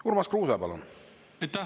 Urmas Kruuse, palun!